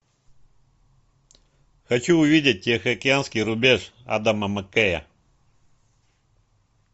хочу увидеть тихоокеанский рубеж адама маккея